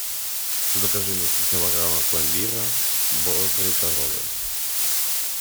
закажи мне три килограмма пломбира бодрые коровы